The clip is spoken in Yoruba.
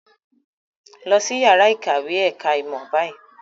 Lọ sí ìyàrá-ìkàwé ẹ̀ka-ìmọ̀ báyìí!